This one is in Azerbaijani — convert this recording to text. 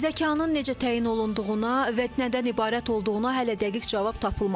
Zəkanın necə təyin olunduğuna və nədən ibarət olduğuna hələ dəqiq cavab tapılmayıb.